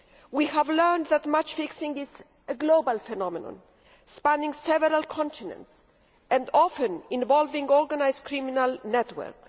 We have learnt that match fixing is a global phenomenon spanning several continents and often involving organised criminal networks.